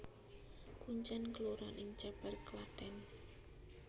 Kuncèn kelurahan ing Cèpèr Klathèn